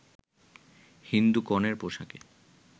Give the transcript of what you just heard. হিন্দু কনের পোশাকে